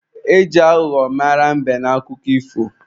E ji aghụghọ mara mbe n'akụkọ ifo.